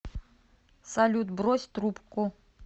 салют брось трубку